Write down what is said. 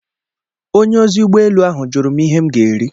Onye ozi ụgbọ elu ahụ jụrụ m ihe m ga-eri.